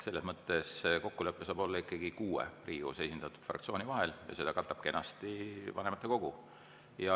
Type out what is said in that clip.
Selles mõttes saab kokkulepe olla ikkagi kuue Riigikogus esindatud fraktsiooni vahel ja seda katab kenasti vanematekogu.